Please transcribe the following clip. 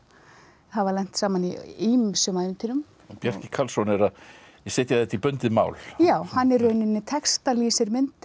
hafa lent saman í ýmsum ævintýrum Bjarki Karlsson setur þetta í bundið mál já hann í rauninni textar myndir